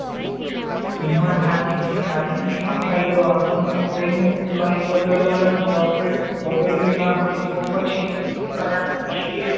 હિંમત હારીને સો ફાયદો આપણને કોઈનું કઈ બડવા બડાળ્યું ના હોય તો પછી ખરાબ થશે